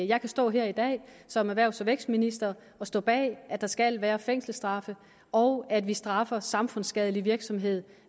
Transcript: jeg kan stå her i dag som erhvervs og vækstminister og stå bag at der skal være fængselsstraffe og at vi straffer samfundsskadelig virksomhed